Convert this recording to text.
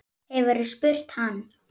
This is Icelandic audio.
Hefurðu spurt hann?